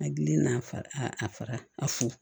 Hakili n'a fa a fa a fu